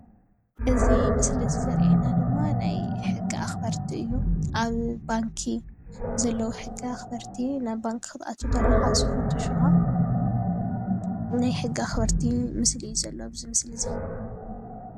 እዚ ምስሊ ዘርአና ድማ ናይ ሕጊ ኣክበርቲ እዩ። ኣብ ባንኪ ዘለዉ ሕጊ ኣክበርቲ ናብ ባንኪ ክትኣቱ ከለካ ዝፍትሹካ ናይ ሕጊ ኣክበርቲ ምስሊ እዩ ዘሎ ኣብዚ ምስሊ እዚ።